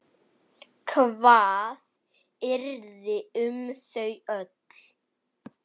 Hvað yrði um þau öll?